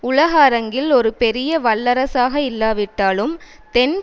உலக அரங்கில் ஒரு பெரிய வல்லரசாக இல்லாவிட்டாலும் தென்